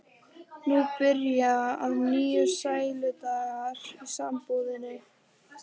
Nú byrja að nýju sæludagar í sambúðinni.